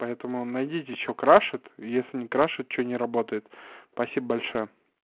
поэтому найдите что крашит если не крашит что не работает спасибо большое